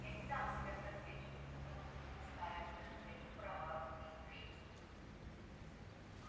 я не дам себя просвечивать потому что настаиваю на своих правах из принципа